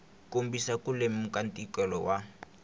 kombisa ku lemuka ntikelo wa